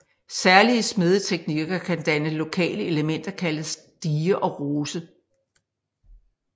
Særlige smedeteknikker kan danne lokale elementer kaldet stige og rose